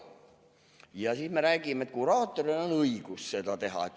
" Ja siis me räägime, et kuraatoril on õigus seda teha.